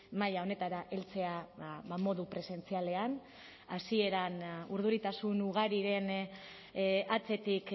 maila honetara heltzea modu presentzialean hasieran urduritasun ugariren atzetik